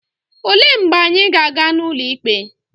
Olee mgbe anyị ga-aga n'ụlọ ikpe?